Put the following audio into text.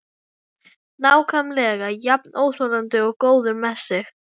Nákvæmlega jafn óþolandi og góður með sig.